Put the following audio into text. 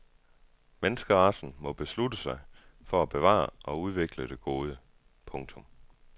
Menneskeracen må beslutte sig for at bevare og udvikle det gode. punktum